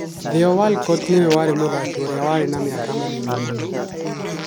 Theo Walcott nĩwe warĩ mũthaki ũrĩa warĩ na miaka mĩnini mũno.